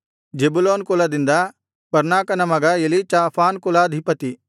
Zebulun ಕುಲದಿಂದ ಪರ್ನಾಕನ ಮಗ ಎಲೀಚಾಫಾನ್ ಕುಲಾಧಿಪತಿ